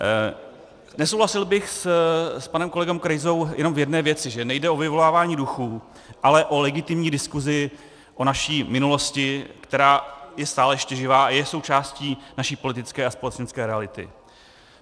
Nesouhlasil bych s panem kolegou Krejzou jenom v jedné věci - že nejde o vyvolávání duchů, ale o legitimní diskusi o naší minulosti, která je stále ještě živá a je součástí naší politické a společenské reality.